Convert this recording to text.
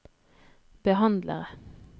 behandlere